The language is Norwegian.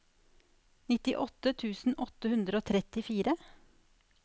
nittiåtte tusen åtte hundre og trettifire